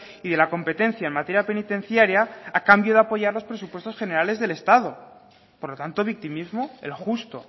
y de la competencia en materia penitenciaria a cambio de apoyar los presupuestos generales del estado por lo tanto victimismo el justo